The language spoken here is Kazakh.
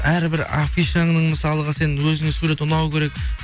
әрбір афишаның мысалға сен өзіңе суреті ұнау керек